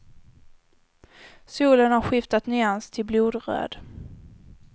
Solen har skiftat nyans till blodröd.